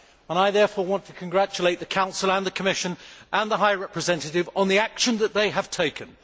I therefore want to congratulate the Council, the Commission and the High Representative on the action that they have taken.